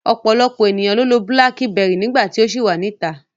Ọ̀pọ̀lọpọ̀ ènìyàn ló lo Búlákíbẹrì nígbà tí ó ṣì wà níta.